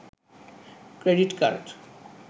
credit card